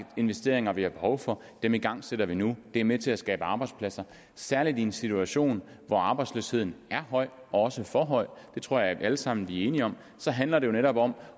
investeringer vi har behov for dem igangsætter vi nu det er med til at skabe arbejdspladser særlig i en situation hvor arbejdsløsheden er høj også for høj det tror jeg vi alle sammen er enige om handler det jo netop om